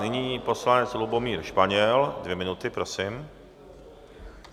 Nyní poslanec Lubomír Španěl, dvě minuty, prosím.